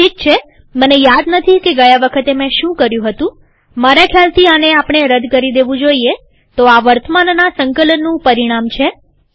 ઠીક છેમને યાદ નથી કે ગયા વખતે મેં શું કર્યું હતુંમારા ખ્યાલથી આને આપણે રદ કરી દેવું જોઈએતો આ વર્તમાનના સંકલનનું પરિણામ છે